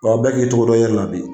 bɛɛ k'i cogo dɔn i yɛrɛ la bi.